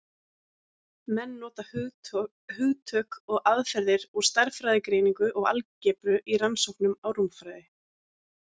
Menn nota hugtök og aðferðir úr stærðfræðigreiningu og algebru í rannsóknum á rúmfræði.